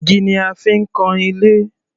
Igi ni a fi ń kan ilé.